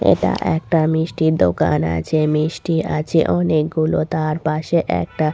এটা একটা মিষ্টির দোকান আছে মিষ্টি আছে অনেকগুলো তার পাশে একটা--